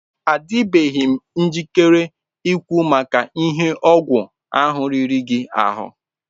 Adịbeghị m njikere ikwu maka ihe ọgwụ ahụ riri gị ahụ.